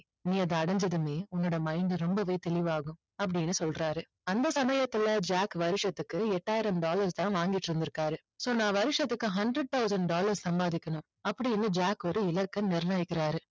நீ அதை அடைஞ்சதுமே உன்னோட mind ரொம்பவே தெளிவாகும் அப்படின்னு சொல்றாரு அந்த சமயத்துல ஜாக் வருசத்துக்கு எட்டாயிரம் டாலர் தான் வாங்கிட்டு இருந்துருக்காரு so நான் வருசத்துக்கு hundred thousand dollars சம்பாதிக்கணும் அப்படின்னு ஜாக் ஒரு இலக்கை நிர்ணயிக்கறாரு